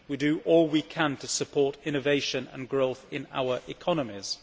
We do all we can to support innovation and growth in our economies.